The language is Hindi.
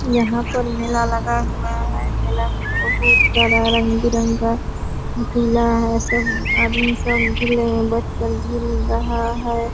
यहाँ पर मेला लगा हुआ है। मेला में बहुत सारा रंग बिरंगा झूला है सभी आदमी सब झूले में बैठ कर झूल रहा है।